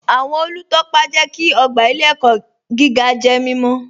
Awọn olútọ́pa jẹ́ kí ogba ilẹ̀-ẹ̀kọ̀ gígà jẹ́ mímọ̀